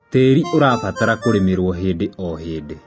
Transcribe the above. tĩĩri ũrabatara kũrĩmirwo hĩndĩ o hĩndĩ